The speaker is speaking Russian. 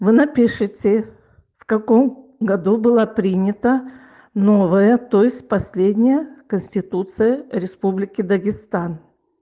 вы напишите в каком году была принята новая то есть последняя конституция республики дагестан